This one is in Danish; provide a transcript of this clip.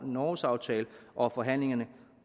norgesaftale og at forhandlingerne